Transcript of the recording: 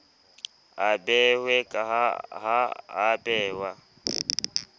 a behwe ha a behwe